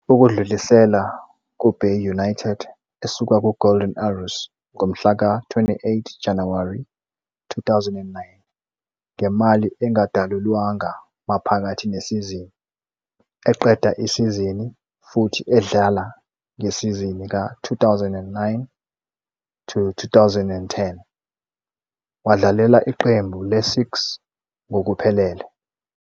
Ukudlulisela kuBay United esuka kuGolden Arrows ngomhla ka-28 Januwari 2009 ngemali engadalulwanga maphakathi nesizini, eqeda isizini, futhi edlala ngesizini ka-2009-10, wadlalela iqembu le-6 ngokuphelele.